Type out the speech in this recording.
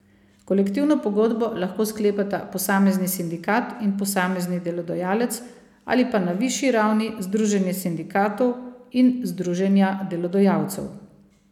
Kolektivno pogodbo lahko sklepata posamezni sindikat in posamezni delodajalec ali pa na višji ravni združenja sindikatov in združenja delodajalcev.